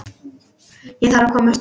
Ég þarf að komast upp.